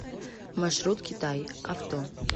маршрут китай авто